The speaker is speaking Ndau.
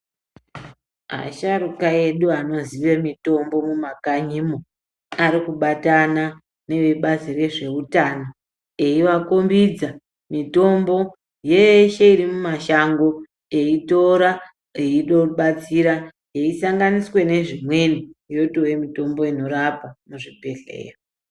Asharuka edu anozive mitombo mumakanyimo arikubatana nevebazi rezveutano eivakombidza mitombo yeshe irimumashango eitora, eibatsira yeisanganiswe nezvimweni, yotove mitombo inorapa, muzvibhehleya.